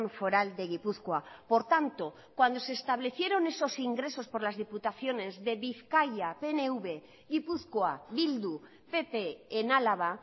foral de gipuzkoa por tanto cuando se establecieron esos ingresos por las diputaciones de bizkaia pnv gipuzkoa bildu pp en álava